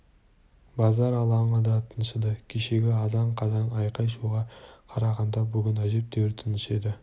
базар алаңы да тыншыды кешегі азан-қазан айқай-шуға қарағанда бүгін әжептәуір тыныш еді